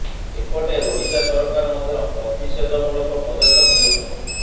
ଏପଟେ ଓଡିଶା ସରକାର ମଧ୍ୟ ପ୍ରତିଷେଧ ମୂଳକ ପଦକ୍ଷେପ ନେଉଛନ୍ତି